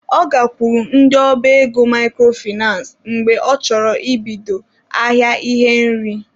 Ọ gakwuru ndị ọba ego microfinace mgbe ọ chọrọ ibido ahịa ihe nri.